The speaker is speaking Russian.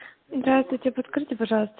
здравствуйте подскажите пожалуйста